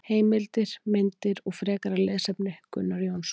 Heimildir, myndir og frekara lesefni Gunnar Jónsson.